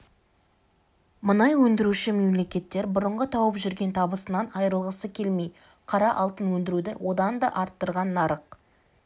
мұнай өндіруші мемлекеттер бұрынғы тауып жүрген табысынан айырылғысы келмей қара алтын өндіруді одан да арттырған нарық